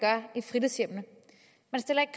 stiller ikke